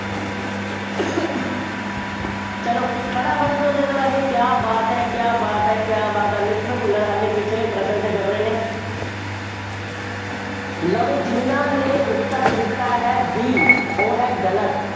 ਚੱਲੋ, ਫਟਾਫਟ ਉੱਤਰ ਦੇ ਦਿਓ ਰਾਜੇ, ਕਿਆ ਬਾਤ ਹੈ, ਕਿਆ ਬਾਤ ਹੈ, ਕਿਆ ਬਾਤ ਹੈ, mister ਭੁੱਲਰ ਹਾਲੇ ਪਿਛਲੇ ਪ੍ਰਸ਼ਨ ਤੇ ਫਿਰ ਰਹੇ ਨੇ। ਲਓ ਬਈ ਜਿੰਨ੍ਹਾ ਨੇ ਉੱਤਰ ਦਿੱਤਾ ਹੈ B ਉਹ ਹੈ ਗਲਤ।